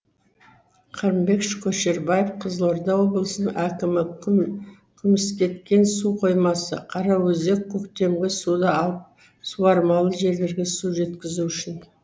қырымбек көшербаев қызылорда облысының әкімі күміскеткен су қоймасы қараөзек көктемгі суды алып суармалы жерлерге су жеткізу үшін